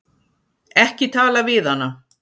Ekki tala við hana!